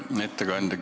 Hea ettekandja!